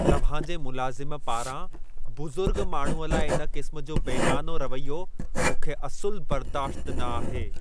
तव्हां जे मुलाज़िम पारां बुज़ुर्ग माण्हूअ लाइ इन क़िस्म जो बेमानो रवैयो, मूंखे असुलु बर्दाश्तु न आहे।